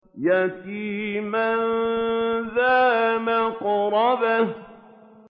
يَتِيمًا ذَا مَقْرَبَةٍ